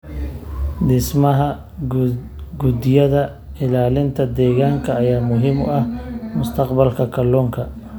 Dhismaha guddiyada ilaalinta deegaanka ayaa muhiim u ah mustaqbalka kalluunka.